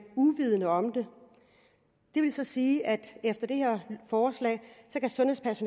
uvidende om det det vil så sige at efter det her forslag